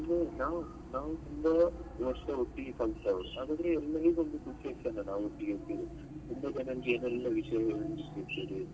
ನಾವ್ ನಾವ್ ತುಂಬಾ ವರ್ಷ ಒಟ್ಟಿಗೆ ಕಲ್ತವರು ಹಾಗಾದ್ರೆ ಎಲ್ಲರಿಗೂ ಒಂದು ತುಂಬಾ ಜನರಿಗೆ ಏನೆಲ್ಲ ವಿಷ್ಯ ಸಿಕ್ಕಿರ್ತದೆ.